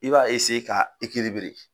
I b'a ka